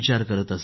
बिलकूल सर